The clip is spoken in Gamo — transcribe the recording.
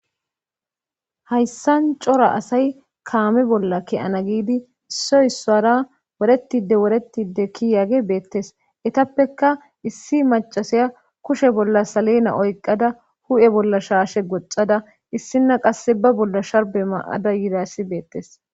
hayssan cora asay kaame bolla kiyana giidi issoy issara woretide woretide kiyage beettes etappekka issi macasaya kushe bolla salena oyqada hu7e bolla shaashe goxada issinna qasse ba bolla sharbe maada yidassi beettes